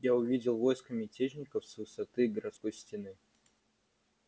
я увидел войско мятежников с высоты городской стены